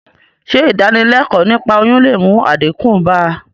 Sé ìdánilékòó niípa oyún le mú àdínkù bá...